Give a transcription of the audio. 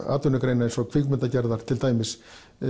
atvinnugreina eins og kvikmyndagerðar til dæmis